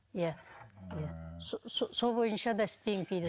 иә иә сол бойынша да істеймін кейде